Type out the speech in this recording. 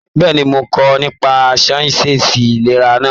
Bẹ́ẹ̀ni, mo n kọ nípa sáyẹnsì ìlera náà.